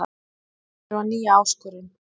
Tel mig þurfa nýja áskorun